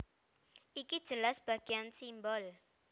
Iki jelas bagéan simbol